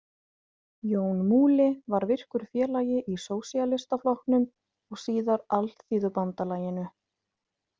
Jón Múli var virkur félagi í Sósíalistaflokknum og síðar Alþýðubandalaginu.